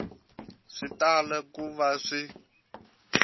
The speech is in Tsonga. swi tala ku va swi